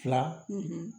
Fila